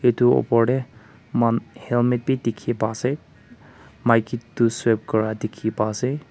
etu opor tey moi kan helmet b dikey pai ase maiki toh serve kura dikey pai ase.